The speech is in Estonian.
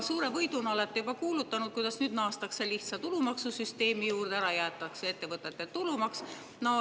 Suure võiduna olete juba kuulutanud, kuidas nüüd naastakse lihtsa tulumaksusüsteemi juurde ja ära jäetakse ettevõtete tulumaks.